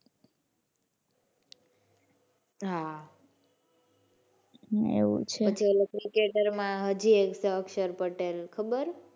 હાં એવું છે પછી ઓલો ક્રિકેટર માં હજી એક છે અક્ષર પટેલ ખબર.